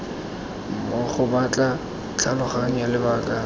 mmogo ba tla tlhaloganya lebaka